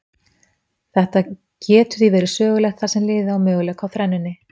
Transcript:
Þetta getur því verið sögulegt þar sem liðið á möguleika á þrennunni.